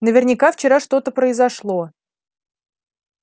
наверняка вчера что-то произошло